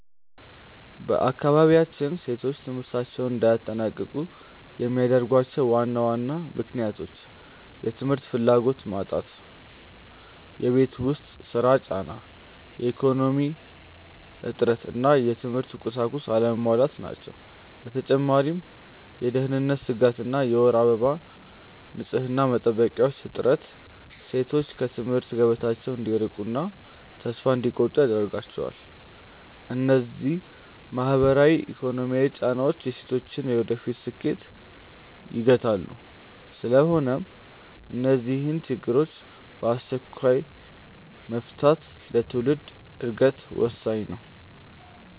በአካባቢያችን ሴቶች ትምህርታቸውን እንዳያጠናቅቁ የሚያደርጓቸው ዋና ዋና ምክንያቶች፦ የ ትምህርት ፍላጎት መጣት የቤት ውስጥ ሥራ ጫና፣ የኢኮኖሚ እጥረት እና የትምህርት ቁሳቁስ አለመሟላት ናቸው። በተጨማሪም የደህንነት ስጋት እና የወር አበባ ንፅህና መጠበቂያዎች እጥረት ሴቶች ከትምህርት ገበታቸው እንዲቀሩና ተስፋ እንዲቆርጡ ያደርጋቸዋል። እነዚህ ማህበራዊና ኢኮኖሚያዊ ጫናዎች የሴቶችን የወደፊት ስኬት ይገታሉ። ስለሆነም እነዚህን ችግሮች በአስቸኳይ መፍታት ለትውልድ ዕድገት ወሳኝ ነው።